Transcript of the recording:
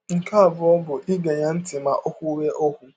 Nke abụọ bụ ige ya ntị ma ọ kwụwe ọkwụ.